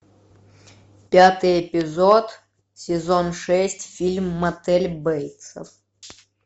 пятый эпизод сезон шесть фильм мотель бейтсов